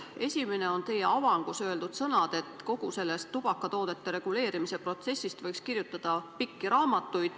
Esimene on teie avangus öeldud sõnade kohta, et kogu sellest tubakatoodete turu reguleerimise protsessist võiks kirjutada pakse raamatuid.